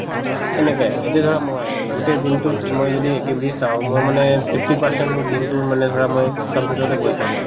সেনেকে, এতিয়া ধৰা মই গোটেই দিনতোত মই যদি activities চাও মই মানে fifty percent মোৰ দিনতোৰ মানে ধৰা মই computer তে বহি থাকো